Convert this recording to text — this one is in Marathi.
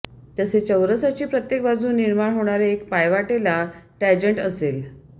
तसेच चौरसाची प्रत्येक बाजू निर्माण होणार्या एका पायवाटेला टँजन्ट असेल